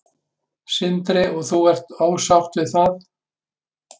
Sindri: Og þú ert ósátt við það?